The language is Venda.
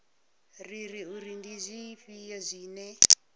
rere uri ndi zwifhio zwine